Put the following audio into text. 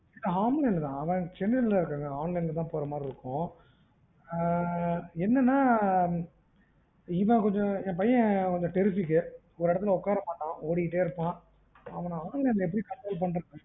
online ல தான் அவுங்க சென்னைலல இருக்காங்க online ல தான் போற மாதிரி இருக்கும். ஆஹ் என்னென்னா இவன் கொஞ்சம் என்பையன் கொஞ்சம் terrific ஒரு இடத்துல உக்கார மாட்டான் ஓடிட்டே இருப்பான். அவனை online ல எப்படி control பண்றது